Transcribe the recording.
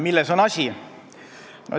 Milles on asi?